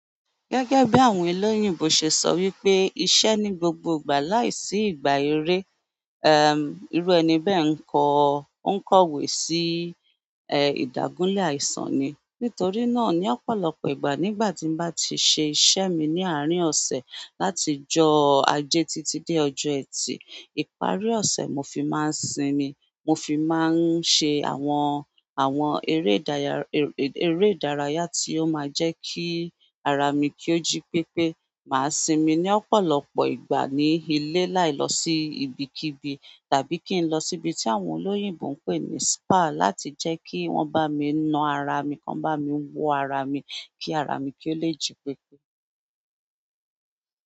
Gẹ́gẹ́ bí àwọn elóyìnbó se sọ wípé iṣẹ́ ní gbogbo ìgbà láìsí ìgbà eré, irú ẹni bẹ́ẹ̀ n kọ, n kọ̀wé sí ìdágúnlé àìsàn ni. Nítorí náà ni lọ́pọ̀lọpọ̀ ìgbà nígbà tí bá ti ṣe iṣẹ́ mi ní árin ọ̀sẹ̀ láti ijọ́ ajé títí dé ọjọ́ Ẹtì. Ìparí ọ̀sẹ̀ mo fi máa sími, mo fi máa ń ṣe àwọn, àwọn eré ìdára eré ìdárayá tí ó máa ń jẹ́ kí ara mi kí ó jí pépé. Màá sinmi ní ọ̀pọ̀lọpọ̀ ìgbà ní ilé láì lọ sí ibikíbi tàbí kí n lọ síbi tí àwọn elóyìnbó ń pè ní spa láti jẹ́ kí wọ́n bá mi na ara mi, kọ́ bá mi wo ara mi kí ara mi kí ó lè jí pépé.